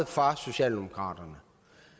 faktisk drejer